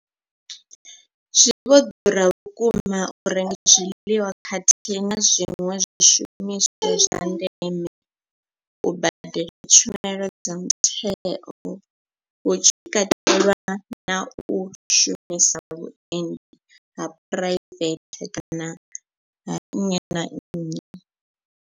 Zwi vho ḓura vhukuma u renga zwiḽiwa khathihi na zwiṅwe zwishumiswa zwa ndeme, u badela tshumelo dza mutheo hu tshi katelwa na u shumisa vhuendi ha phuraivethe kana ha nnyi na nnyi.